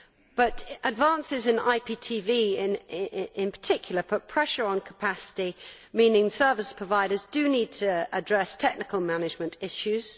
But advances in Internet Protocol Television in particular put pressure on capacity, meaning service providers need to address technical management issues.